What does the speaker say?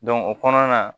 o kɔnɔna na